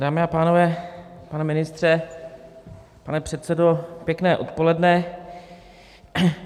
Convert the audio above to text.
Dámy a pánové, pane ministře, pane předsedo, pěkné odpoledne.